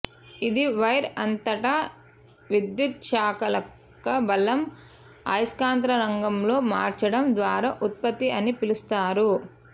ఇది వైర్ అంతటా విద్యుచ్ఛాలక బలం అయస్కాంత రంగంలో మార్చడం ద్వారా ఉత్పత్తి అని పిలుస్తారు